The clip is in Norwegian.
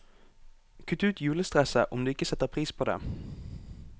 Kutt ut julestresset, om du ikke setter pris på det.